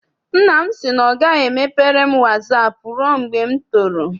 Nna m sị na ọ gaghị emepere m wasaapụ rụe mgbe m toro.